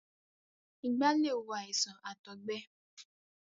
ìgbá lè wo àìsàn àtọ̀gbe.